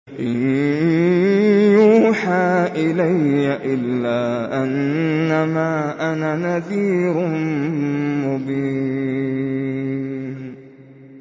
إِن يُوحَىٰ إِلَيَّ إِلَّا أَنَّمَا أَنَا نَذِيرٌ مُّبِينٌ